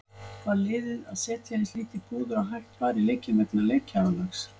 Var liðið að setja eins lítið púður og hægt var í leikinn vegna leikjaálags?